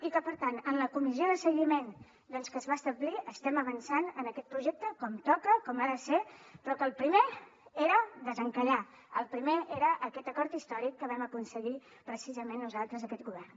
i que per tant en la comissió de seguiment doncs que es va establir estem avançant en aquest projecte com toca com ha de ser però que el primer era desencallar el primer era aquest acord històric que vam aconseguir precisament nosaltres aquest govern